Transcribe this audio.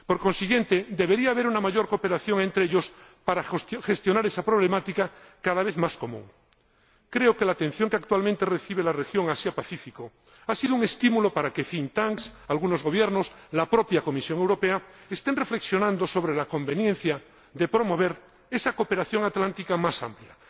Por consiguiente, debería haber una mayor cooperación entre ellos para gestionar esa problemática cada vez más común. Creo que la atención que actualmente recibe la región Asia Pacífico ha sido un estímulo para que think tanks algunos Gobiernos y la propia Comisión Europea estén reflexionando sobre la conveniencia de promover esa cooperación atlántica más amplia.